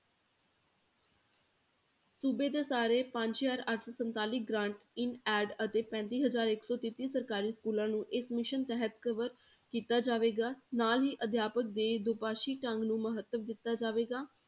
ਸੂਬੇ ਦੇ ਸਾਰੇ ਪੰਜ ਹਜ਼ਾਰ ਅੱਠ ਸੌ ਸੰਤਾਲੀ grant in aid ਅਤੇ ਪੈਂਤੀ ਹਜ਼ਾਰ ਇੱਕ ਸੌ ਤੇਤੀ ਸਰਕਾਰੀ schools ਨੂੰ ਇਸ mission ਤਹਿਤ cover ਕੀਤਾ ਜਾਵੇਗਾ ਨਾਲ ਹੀ ਅਧਿਆਪਕ ਦੇ ਦੋ ਪਾਸੀ ਢੰਗ ਨੂੰ ਮਹੱਤਵ ਦਿੱਤਾ ਜਾਵੇਗਾ